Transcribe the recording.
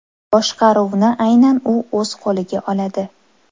Boshqaruvni aynan u o‘z qo‘liga oladi.